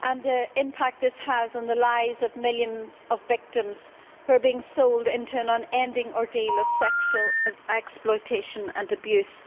and the impact this has on the lives of millions of victims who are being sold into an unending ordeal of sexual exploitation and abuse.